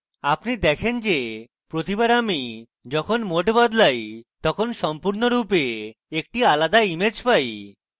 আপনি দেখেন যে প্রতিবার আমি যখন mode বদলাই তখন আপনি সম্পূর্ণরূপে একটি আলাদা image পাই